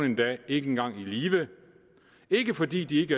endda ikke engang hjem i live ikke fordi de